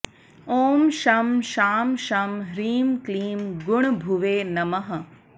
ॐ शं शां षं ह्रीं क्लीं गुणभुवे नमः